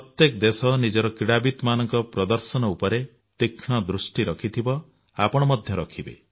ବିଶ୍ୱର ପ୍ରତ୍ୟେକ ଦେଶ ନିଜର କ୍ରୀଡାବିତମାନଙ୍କ ପ୍ରଦର୍ଶନ ଉପରେ ତୀକ୍ଷ୍ଣ ଦୃଷ୍ଟି ରଖିଥିବ ଆପଣ ମଧ୍ୟ ରଖିବେ